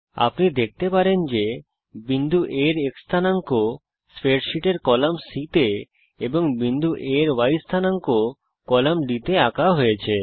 আপনি দেখতে পারেন যে বিন্দু A এর x স্থানাঙ্ক স্প্রেডশীটের কলাম C তে এবং বিন্দু A এর y স্থানাঙ্ক কলাম D তে আঁকা হয়েছে